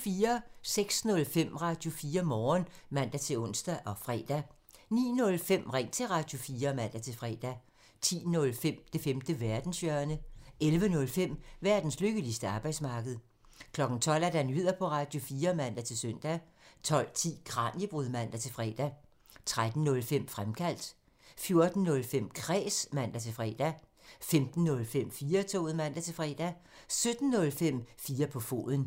06:05: Radio4 Morgen (man-ons og fre) 09:05: Ring til Radio4 (man-fre) 10:05: Det femte verdenshjørne (man) 11:05: Verdens lykkeligste arbejdsmarked (man) 12:00: Nyheder på Radio4 (man-søn) 12:10: Kraniebrud (man-fre) 13:05: Fremkaldt (man) 14:05: Kræs (man-fre) 15:05: 4-toget (man-fre) 17:05: 4 på foden (man)